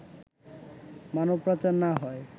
মানবপাচার না হয়